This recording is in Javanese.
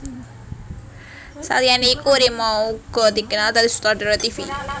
Saliyané iku Rima uga dikenal dadi sutradara tivi